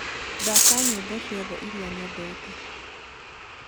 thaka nyĩmbo cĩothe ĩrĩa nyendete